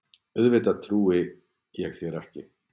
Auðvitað trúi ég þér ekki.